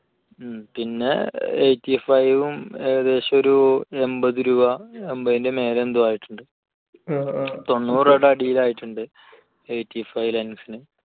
പിന്നെ eighty five ഉം ഏകദേശം ഒരു എൺപത് രൂപ, എൺപതിന്റെ മേലെ എന്തോ ആയിട്ടുണ്ട്. തൊണ്ണൂറ് ന്റെ അടിയിൽ ആയിട്ടുണ്ട്.